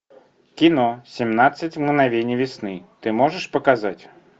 кино семнадцать мгновений весны ты можешь показать